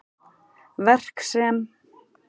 Verk sem